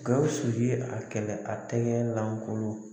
Gawusu ye a kɛlɛ a tɛgɛlankolon